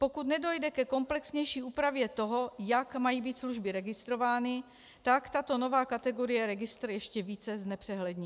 Pokud nedojde ke komplexnější úpravě toho, jak mají být služby registrovány, tak tato nová kategorie registr ještě více znepřehlední.